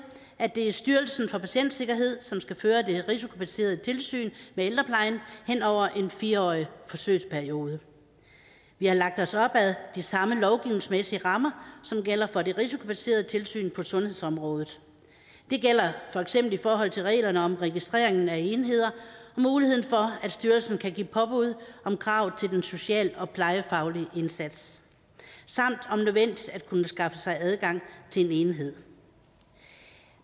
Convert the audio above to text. at det er styrelsen for patientsikkerhed som skal føre det risikobaserede tilsyn med ældreplejen hen over en fire årig forsøgsperiode vi har lagt os op ad de samme lovgivningsmæssige rammer som gælder for det risikobaserede tilsyn på sundhedsområdet det gælder for eksempel i forhold til reglerne om registreringen af enheder muligheden for at styrelsen kan give påbud om krav til den sociale og plejefaglige indsats samt om nødvendigt at kunne skaffe sig adgang til en enhed